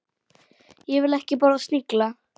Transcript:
Ég vil ekki borða snigla.